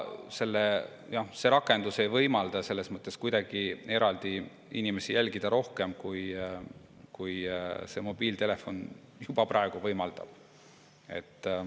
See rakendus ei võimalda kuidagi jälgida inimesi rohkem, kui mobiiltelefon juba praegu võimaldab.